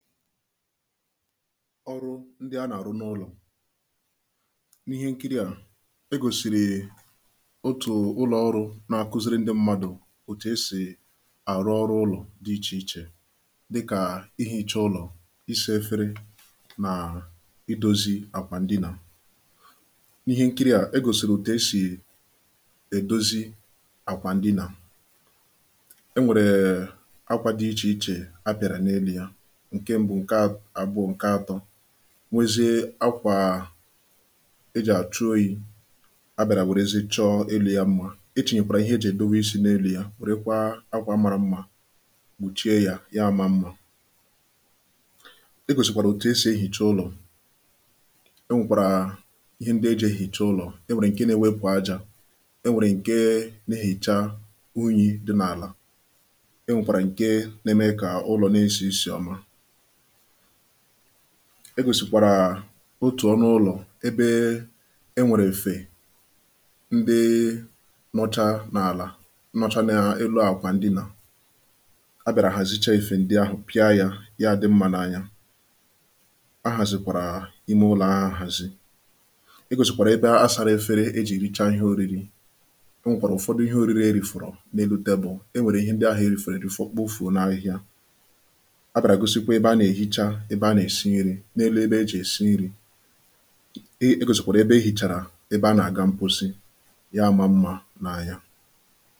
ọrụ ndị a na-arụ n’ụlọ̀ n’ihe nkiri à e gòsìrì otù ụlọ̀ ọrụ̇ na-akuziri ndị̇ mmadụ̀ òtù esì àrụ ọrụ̇ ụlọ̀ dị ichè ichè dịkà ihi̇cha ụlọ̀, isȧ efere nà idȯzi àkwà ndịnà n’ihe nkiri à e gòsìrì òtù esì edozi àkwà ndịnà e nwèrè ee akwa dị ichè ichè a pị̀àrà n’enu yȧ nwezie akwà ejì àchụ oyi̇ a bị̀àrà wèrezi chọ ẹlò ya mmȧ e chìnyèkwàrà ihe ejì è dowe isi̇ nà elu̇ ya, wèrekwa akwà amàrà mmȧ kpùchie yȧ, ya àma mmȧ e gòsìkwàrà òtù esì ehìcha ụlọ̀ e nwèkwàrà ihe ndị ejì è hìchaa ụlọ̀ e nwèkwàrà ǹke na-ewepù ajȧ e nwèrè ǹke n’ihìcha unyi̇ dị n’àlà egòsìkwàrà otù ọnụ̇ ụlọ̀ ebe e nwèrè èfè ndịị nọcha n’àlà nọcha n’elu àkwà ndịnà a bị̀àrà hàzicha èfè ndị ahụ̀ pịa yȧ ya àdị mmȧ n’anya a hàzìkwàrà ime ụlọ̀ ha àhàzị e gòsìkwàrà ebe a asȧra efere ejì richa ihe ȯriri e nwèkwàrà ụ̀fọdụ ihe ȯriri e rìfòrò n’elu tebù e nwèrè ihe ndị ahụ̀ e rìfòrò èrifo kpofùo n’ahịhịa n’elu ebe ejì èsi nri̇ ekòsìkwàrà ebe e hìchàrà ebe a nà-àga mkposi ya mà mmȧ n’anya